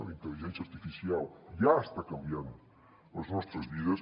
la intel·ligència artificial ja està canviant les nostres vides